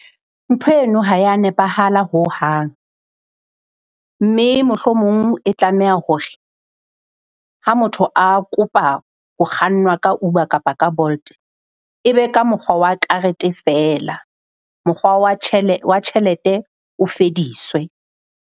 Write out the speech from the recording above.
Ntho eno ha ya nepahala hohang mme mohlomong e tlameha hore ha motho a kopa ho kgannwa ka Uber kapa ka Bolt, e be ka mokgwa wa karete feela. Mokgwa wa tjhelete o fediswe.